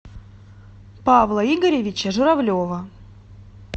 павла игоревича журавлева